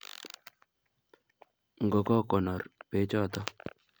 Ngokokonor bechoto